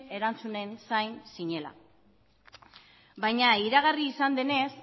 erantzunen zain zinela baina iragarri izan denez